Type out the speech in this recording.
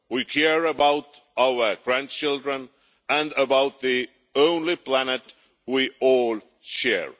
We care about our grandchildren and about the only planet we all share.